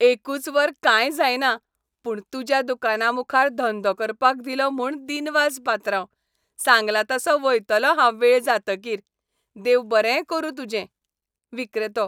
एकूच वर काय जायना, पूण तुज्या दुकाना मुखार धंदो करपाक दिलो म्हूण दिनवास पात्रांव. सांगलां तसों वयतलों हांव वेळ जातकीर. देव बरें करूं तुजें. विक्रेतो